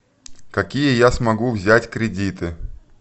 какие я смогу взять кредиты